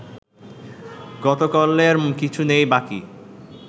গতকল্যের কিছু নেই বাকি